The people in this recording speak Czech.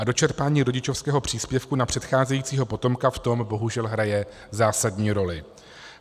A dočerpání rodičovského příspěvku na předcházejícího potomka v tom bohužel hraje zásadní roli.